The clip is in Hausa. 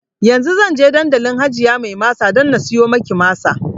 Yanzu zan tafi dandalin hajiya mai masa dan na siyo maki masa